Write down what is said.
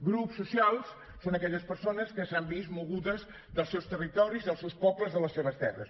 grups socials són aquelles persones que s’han vist mogudes dels seus territoris dels seus pobles de les seves terres